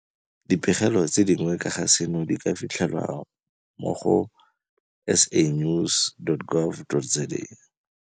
Dipegelo tse dingwe ka ga seno di ka fitlhelwa mo go sanews.gov.za